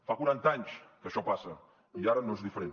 fa quaranta anys que això passa i ara no és diferent